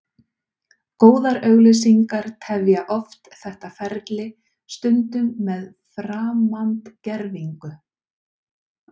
Góðar auglýsingar tefja oft þetta ferli, stundum með framandgervingu.